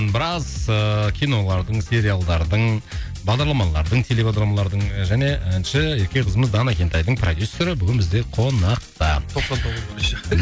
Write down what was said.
біраз ыыы кинолардың сериалдардың бағдарламалардың телебағдарламалардың және әнші ерке қызымыз дана кентайдың продюссері бүгін бізде қонақта тоқсан тоғыздың еще